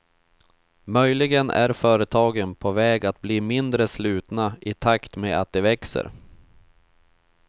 Möjligen är företagen på väg att bli mindre slutna i takt med att de växer.